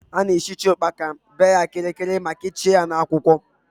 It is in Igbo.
A na-esicha ụkpaka, bee ya kịrịkịrịma kechie ya na akwụkwọ